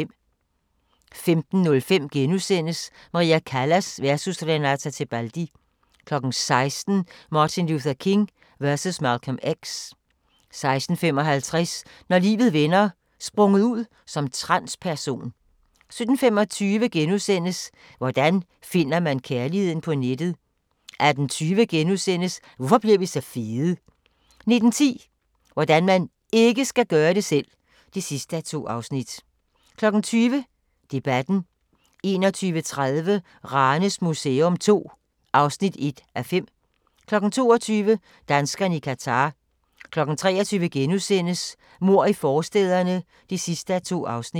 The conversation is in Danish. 15:05: Maria Callas versus Renata Tebaldi * 16:00: Martin Luther King versus Malcolm X 16:55: Når livet vender: Sprunget ud som transperson 17:25: Hvordan finder man kærligheden på nettet? * 18:20: Hvorfor bliver vi så fede? * 19:10: Hvordan man IKKE skal gøre det selv! (2:2) 20:00: Debatten 21:30: Ranes Museum II (1:5) 22:00: Danskerne i Qatar 23:00: Mord i forstæderne (2:2)*